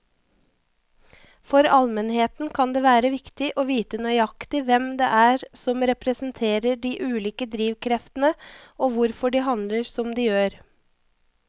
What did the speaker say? For allmennheten kan det være viktig å vite nøyaktig hvem det er som representerer de ulike drivkreftene og hvorfor de handler som de gjør.